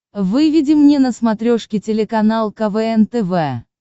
выведи мне на смотрешке телеканал квн тв